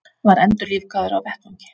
Var endurlífgaður á vettvangi